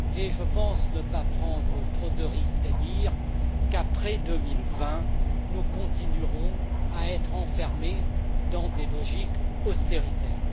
Je pense ne pas prendre trop de risques en disant que, après 2020, nous continuerons à être enfermés dans des logiques austéritaires.